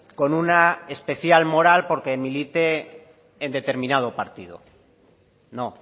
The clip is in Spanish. con una especial moral porque milite en determinado partido no